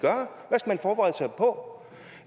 forberede sig på